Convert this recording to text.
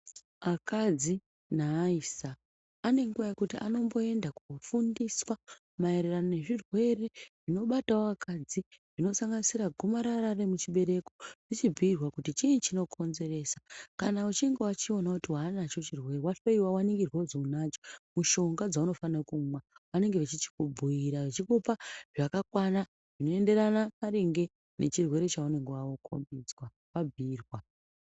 Akadzi naaisa ane nguva yekuti anomboenda kobudiswa maererano nezvirwere zvinobatavo akadzi zvinosanganisira gomarara remuchibereko vochibhuirwa kuti chii chinokonzesa. Kana uchinge vachiona kuti hwanacho chirwere vahloiwa vaningirwa kuzi unacho mushonga dzaunofanira kumwa vanenge vachichikumbuira vachikupa zvakakwana zvinoenderana maringe nechirwere chaunenge vakombidzwa vambuirwa.